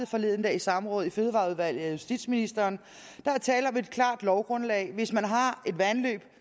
forleden dag i samråd i fødevareudvalget af justitsministeren der er tale om et klart lovgrundlag hvis man har et vandløb